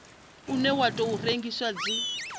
une wa tou rengiwa dzi